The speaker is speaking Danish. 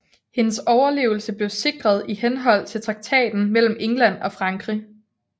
Hendes overlevelse blev sikret i henhold til traktaten mellem England og Frankrig